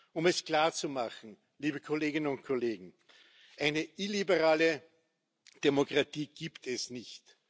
Um es klarzumachen, liebe Kolleginnen und Kollegen, eine illiberale Demokratie gibt es nicht.